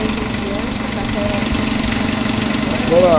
crianças até cinco anos? Agora